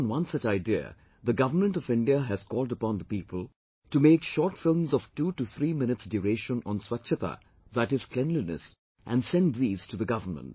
Acting on one such idea, the Government of India has called upon the people to make short films of 2 to 3 minutes duration on Swachhta, that is, cleanliness and send these to the Government